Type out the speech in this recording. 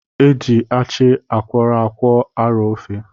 Eji achị akwọrọ akwọ arọ ofe.